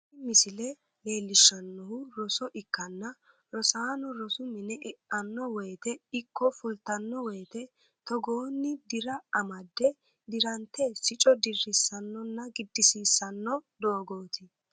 Tini misile leellishshannohu roso ikkanna, rosaano rosu mine e"anno woyte ikko fultanno woyte togoonni dira amadde dirante sicco dirrissannonna giddisiisanno dogooti.